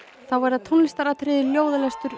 þá verða tónlistaratriði ljóðalestur